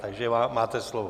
Takže máte slovo.